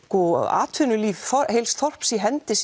atvinnulíf heils þorps í hendinni